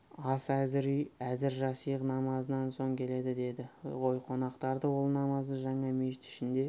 ас әзір үй әзір жасиғ намазынан соң келеді деді ғой қонақтарды ол намазды жаңа мешіт ішінде